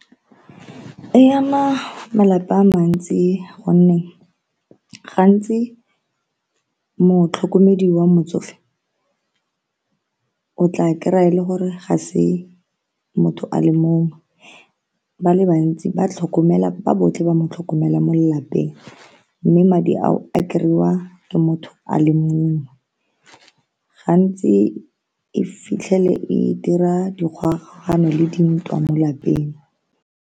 E ama malapa a mantsi gonne gantsi motlhokomedi wa motsofe o tla kry-a e le gore ga se motho a le mongwe ba le bantsi ba tlhokomela ba botlhe ba mo tlhokomela mo lelapeng mme madi ao a kry-iwa ke motho a le mongwe gantsi e fitlhele e dira dikgogakgogano le dintwa mo lapeng.